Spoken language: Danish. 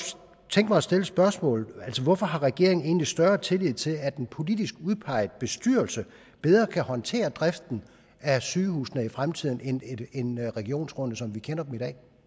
tænke mig at stille spørgsmålet hvorfor har regeringen egentlig større tillid til at en politisk udpeget bestyrelse bedre kan håndtere driften af sygehusene i fremtiden end regionsrådene som vi kender dem